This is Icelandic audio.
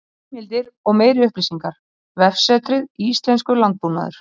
Heimildir og meiri upplýsingar: Vefsetrið Íslenskur landbúnaður.